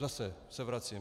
Zase se vracím.